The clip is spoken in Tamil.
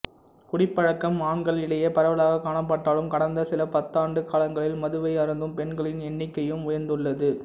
குடிப்பழக்கம் ஆண்களிடையே பரவலாகக் காணப்பட்டாலும் கடந்த சில பத்தாண்டுக் காலங்களில் மதுவை அருந்தும் பெண்களின் எண்ணிக்கையும் உயர்ந்துள்ளது